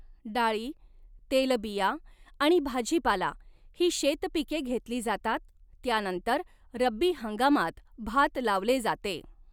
डाळी, तेलबिया आणि भाजीपाला ही शेतपिके घेतली जातात, त्यानंतर रब्बी हंगामात भात लावले जाते.